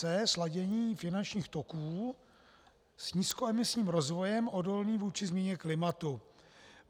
c) sladění finančních toků s nízkoemisním rozvojem odolným vůči změně klimatu.